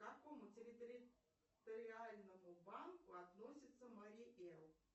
к какому территориальному банку относится марий эл